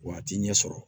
Wa a t'i ɲɛ sɔrɔ